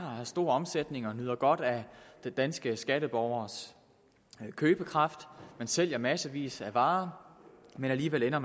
og har stor omsætning og nyder godt af den danske skatteborgers købekraft og sælger massevis af varer alligevel ender